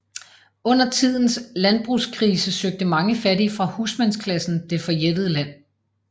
Under tidens landbrugskrise søgte mange fattige fra husmandsklassen det forjættede land